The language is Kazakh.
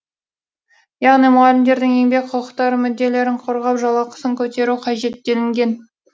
яғни мұғалімдердің еңбек құқықтарын мүдделерін қорғап жалақысын көтеру қажет делінген